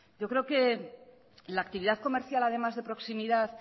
yo creo que la actividad comercial además de proximidad